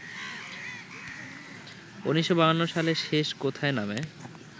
১৯৫২ সালে ‘শেষ কোথায়’ নামে